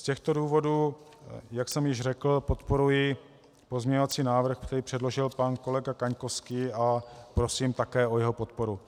Z těchto důvodů, jak jsem již řekl, podporuji pozměňovací návrh, který předložil pan kolega Kaňkovský, a prosím také o jeho podporu.